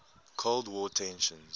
cold war tensions